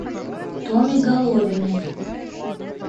томе головиной